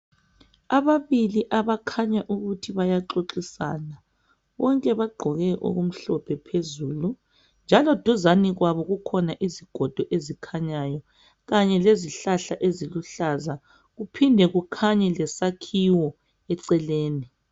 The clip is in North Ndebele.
Ababili abakhanya ukuthi bayaxoxisana, bonke bagqoke okumhlophe phezulu, njalo duzane kwabo kukhona isigodo esikhanyayo, kanye lezihlahla eziluhlaza, kuphinde kukhanye lesakhiwo eceleni.